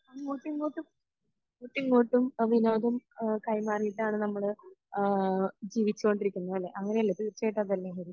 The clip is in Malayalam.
അങ്ങോട്ടും ഇങ്ങോട്ടും അങ്ങോട്ടും ഇങ്ങോട്ടും വിനോദം അഹമ് കൈമാറിയിട്ടാണ് നമ്മൾ ആഹ് ജീവിച്ചോണ്ടിരിക്കുന്നത് അല്ലെ അങ്ങിനെ അല്ലെ തീർച്ചയായിട്ടും അതല്ലേ ഹരി